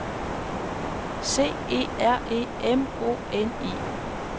C E R E M O N I